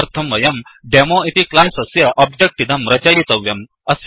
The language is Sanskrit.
तदर्थं वयंDemo डेमोइति क्लास् अस्य ओब्जेक्ट् इदं रचयितव्यम्